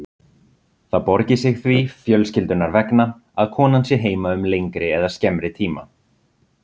Það borgi sig því fjölskyldunnar vegna að konan sé heima um lengri eða skemmri tíma.